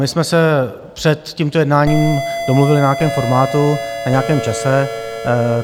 My jsme se před tímto jednáním domluvili na nějakém formátu, na nějakém čase.